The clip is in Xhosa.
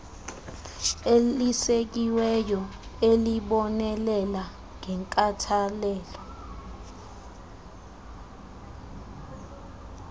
elisekiweyo elibonelela ngenkathalelo